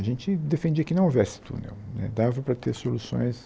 A gente defendia que não houvesse túnel né dava para ter soluções.